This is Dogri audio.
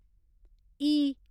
इ